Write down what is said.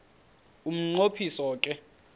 umnqo phiso ke